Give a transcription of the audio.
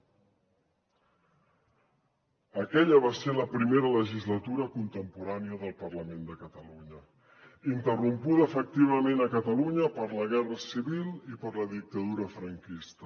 aquella va ser la primera legislatura contemporània del parlament de catalunya interrompuda efectivament a catalunya per la guerra civil i per la dictadura franquista